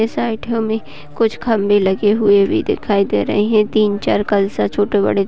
इस में कुछ खंबे लगे हुए भी दिखाई दे रहें हैं तीन चार कलसा छोटे-बड़े --